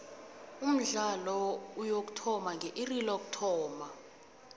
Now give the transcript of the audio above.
umdlalo uyokuthoma nge iri lokuthoma